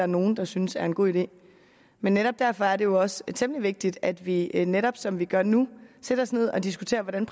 nogen der synes er en god idé men netop derfor er det jo også temmelig vigtigt at vi netop som vi gør nu sætter os ned og diskuterer hvordan